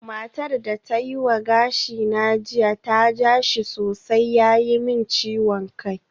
Matar da ta yi wa gashina jiya ta ja shi sosai ya yi min ciwon kai